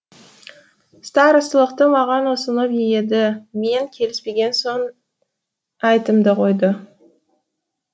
старосталықты маған ұсынып еді мен келіспеген соң әйтімді қойды